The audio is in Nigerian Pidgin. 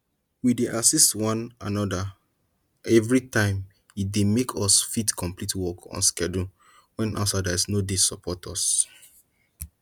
we dey assist one another every time e dey make us fit complete work on schedule wen outsiders no dey support us